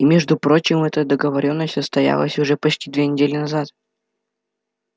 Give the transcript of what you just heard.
и между прочим эта договорённость состоялась уже почти две недели назад